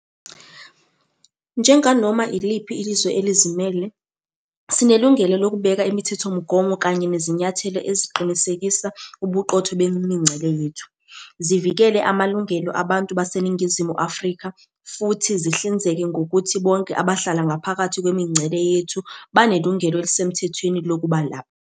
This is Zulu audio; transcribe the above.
Njenganoma iliphi izwe elizimele, sinelungelo lokubeka imithethomgomo kanye nezinyathelo eziqinisekisa ubuqotho bemingcele yethu, zivikele amalungelo abantu baseNingizimu Afrika futhi zihlinzeke ngokuthi bonke abahlala ngaphakathi kwemingcele yethu banelungelo elisemthethweni lokuba lapha.